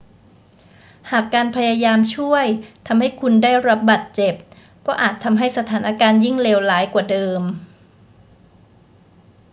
หากการพยายามช่วยทำให้คุณได้รับบาดเจ็บ ก็อาจทำให้สถานการณ์ยิ่งเลวร้ายกว่าเดิม